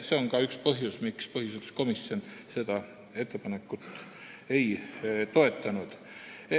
See on ka üks põhjusi, miks põhiseaduskomisjon seda ettepanekut ei toetanud.